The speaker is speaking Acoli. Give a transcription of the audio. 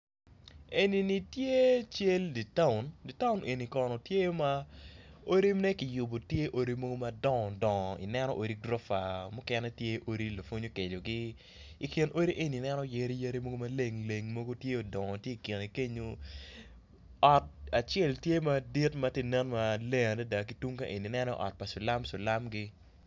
Enini tye cal ditaun ditaun eni kono tye ma odine kiyubo tye odi madongo dongo ineno odi gurufa mukene tye odi lapwony okecogi ikin odi eni i neno yadi mogo maleng leng mogo tye odongo ki kine kenyo ot acel tye madit matye nen maleng adada ki tung kaen i neno ot pa silam silam gi.